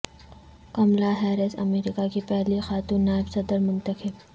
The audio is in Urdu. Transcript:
کملا ہیرس امریکہ کی پہلی خاتون نائب صدر منتخب